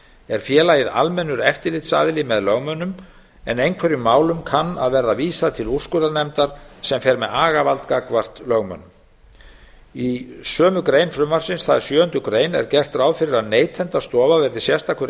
er félagið almennur eftirlitsaðili með lögmönnum en einhverjum málum kann að verða vísað til úrskurðarnefndar sem fer með agavald gagnvart lögmönnum í sömu greinar frumvarpsins það er sjöunda grein er gert ráð fyrir að neytendastofa verði sérstakur